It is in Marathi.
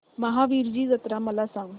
महावीरजी जत्रा मला सांग